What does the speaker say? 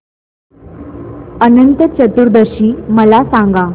अनंत चतुर्दशी मला सांगा